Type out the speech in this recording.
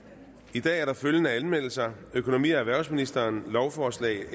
i dag er der følgende anmeldelser økonomi og erhvervsministeren lovforslag